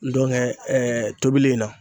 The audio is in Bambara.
tobili in na.